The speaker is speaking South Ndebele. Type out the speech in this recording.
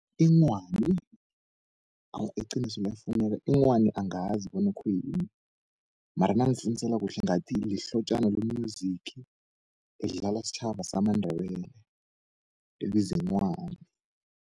Inghwani awa iqiniso liyafuneka inghwani angazi bona khuyini, mara nangifunisela kuhle ngathi lihlotjana lo-music, elidlalwa stjhaba samandebele elibizwi inghwani.